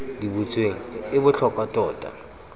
di butsweng e botlhokwa tota